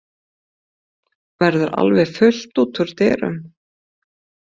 Verður alveg fullt út úr dyrum?